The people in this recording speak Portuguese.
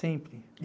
Sempre.